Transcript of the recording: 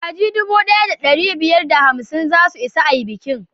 Kaji dubu daya da dari biyar da hamsin za su isa a i bikin